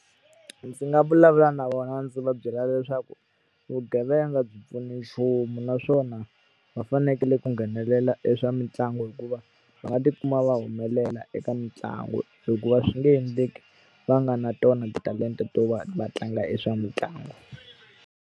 Ndzi nga vulavula na vona ndzi va byela leswaku vugevenga byi a pfuni nchumu naswona, va fanekele ku nghenelela e swa mitlangu hikuva va nga tikuma va humelela eka mitlangu. Hikuva swi nge endleki va nga ri na tona titalenta to va va tlanga e swa mitlangu.